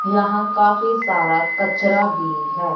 यहां काफी सारा कचरा भी है।